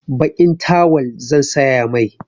Baƙin tawal zan saya mai.